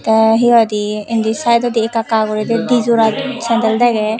te he hoide indi sideondi ekka ekka guri di dijora sandal dege.